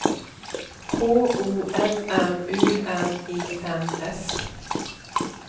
K O M M U N E N S